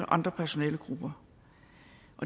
andre personalegrupper